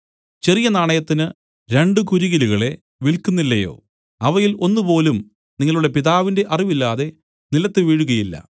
ചെറിയ നാണയത്തിന് രണ്ടു കുരികിലുകളെ വില്ക്കുന്നില്ലയോ അവയിൽ ഒന്നുപോലും നിങ്ങളുടെ പിതാവിന്റെ അറിവില്ലാതെ നിലത്തു വീഴുകയില്ല